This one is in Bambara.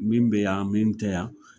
Min be yan min tɛ yan